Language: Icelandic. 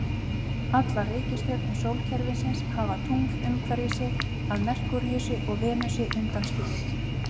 Allar reikistjörnur sólkerfisins hafa tungl umhverfis sig, að Merkúríusi og Venusi undanskilinni.